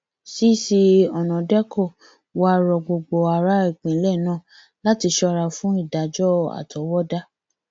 cc ọnàdékọ wàá rọ gbogbo ará ìpínlẹ náà láti ṣọra fún ìdájọ àtọwọdá